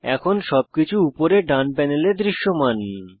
এখন সবকিছু উপরে ডান প্যানেলে দৃশ্যমান